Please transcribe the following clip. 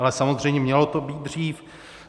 Ale samozřejmě mělo to být dřív.